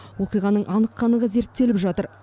оқиғаның анық қанығы зерттеліп жатыр